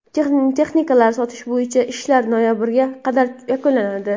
Texnikalarni sotish bo‘yicha ishlar noyabrga qadar yakunlanadi.